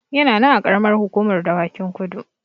Yana nan a Ƙaramar Hukumar Dawakin Kudu.